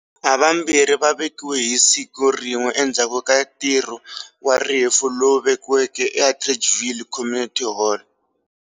Havambirhi va vekiwe hisiku rin'we endzhaku ka ntirhu wa rifu lowuveke e Atteridgeville Community Hall.